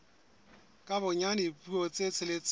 ka bonyane dipuo tse tsheletseng